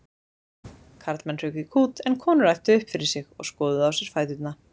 Karlmenn hrukku í kút en konur æptu upp yfir sig og skoðuðu á sér fæturna.